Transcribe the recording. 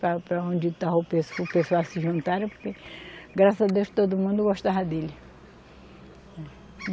Para para onde estava o pessoal se juntarem, porque graças a Deus todo mundo gostava dele.